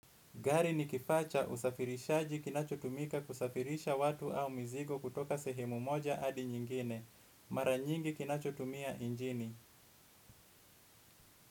Gari ni kifaa cha usafirishaji kinachotumika kusafirisha watu au mizigo kutoka sehemu moja hadi nyingine. Mara nyingi kinachotumia injini.